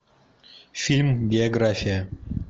фильм биография